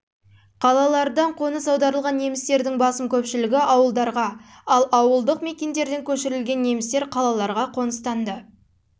қалалардан қоныс аударылған немістердің басым көпшілігі ауылдарға ал ауылдық мекендерден көшірілген немістер қалаларға қоныстанды